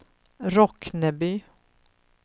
Rockneby